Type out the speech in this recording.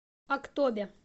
актобе